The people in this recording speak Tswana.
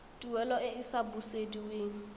tuelo e e sa busediweng